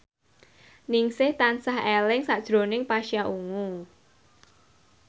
Ningsih tansah eling sakjroning Pasha Ungu